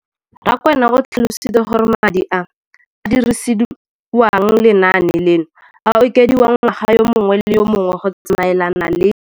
Rakwena o tlhalositse gore madi a a dirisediwang lenaane leno a okediwa ngwaga yo mongwe le yo mongwe go tsamaelana le